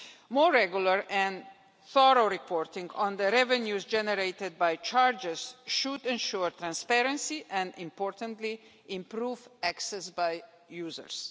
More regular and thorough reporting on the revenues generated by charges should ensure transparency and, importantly, improve access by users.